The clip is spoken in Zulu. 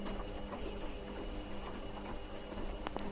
leli elinye iqembu